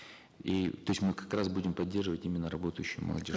и то есть мы как раз будем поддерживать именно работающую молодежь